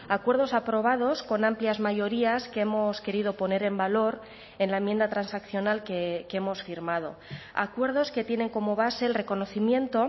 acuerdos aprobados con amplias mayorías que hemos querido poner en valor en la enmienda transaccional que hemos firmado acuerdos que tienen como base el reconocimiento